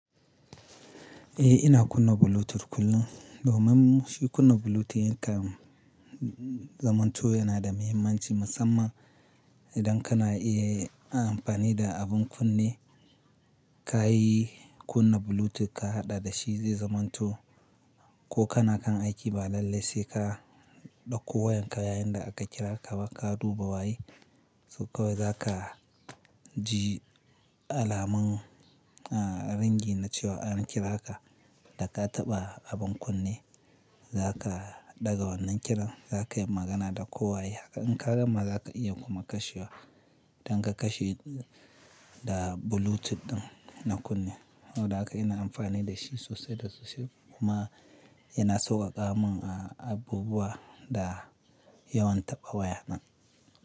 Eh ina kunna Bluetooth kullum. Domin shi kunna Bluetooth yanka zamanto yana da mahimmanci musamman idan kana iya amfani da abin kunne ka yi kunna Bluetooth ka haɗa da shi zai zamanto ko kana kan aiki ba lallai sai ka ɗauko wayan ka yayinda aka kira ka ba ka duba waye. So kawai za ka ji alamun a ringi na cewa an kira ka da ka taɓa abun kunne za ka ɗaga wannan kiran za ka yi magana da ko waya hake. In ka gama za ka iya kuma kashewa, idan ka kashe da Bluetooth ɗin na kunne. Saboda haka ina amfani da shi sosai da sosai kuma yana sauwaƙa mun a abubuwa da yawan taɓa waya nan.